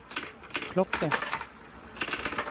klokke